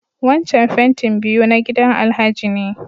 Wancan fentin biyu na gidan Alhaji ne.